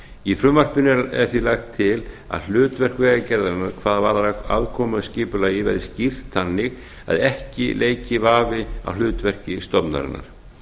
í frumvarpinu er því lagt til að hlutverk vegagerðarinnar hvað varðar aðkomu að skipulagi verði skýrt þannig að ekki leiki vafi á hlutverki stofnunarinnar